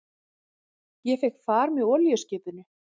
Ég fékk far með olíuskipinu